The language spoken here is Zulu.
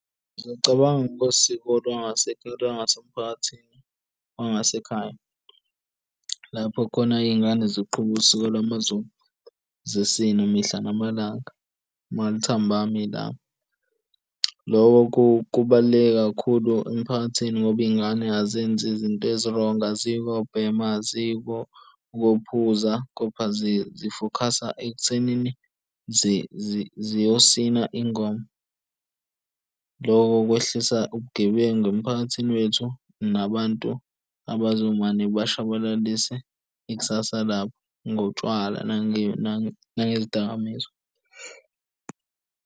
Ngiyacabanga kwesiko lwasekhaya, la ngasemphakathini wangasekhaya, lapho khona iy'ngane ziqhuba usuku lwamaZulu zisina mihla namalanga. Malithambama ilanga loko kubaluleke kakhulu emphakathini ngoba iy'ngane azenzi izinto ezirongi aziyi ukobhema, aziyi ukophuza kepha zifokhasa ekuthenini ziyosina ingoma loko kwehlisa ubugebengu emphakathini wethu nabantu abazobe mane bayashabalalise ikusasa labo ngotshwala nangezidakamizwa.